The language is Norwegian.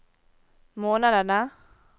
månedene